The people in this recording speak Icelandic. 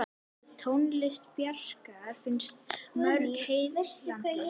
Tónlist Bjarkar finnst mörgum heillandi.